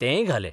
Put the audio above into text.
तेय घाले.